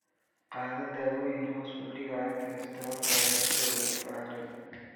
Qaado daawooyin hoos u dhigaya kolestaroolkaaga sida lagu faray.